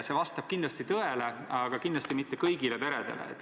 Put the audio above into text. See vastab kindlasti tõele, aga neid toetusi ei ole kõigile peredele.